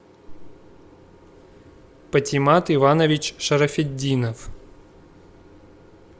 патимат иванович шарафетдинов